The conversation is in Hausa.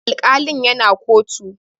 Alkalin ya na kotu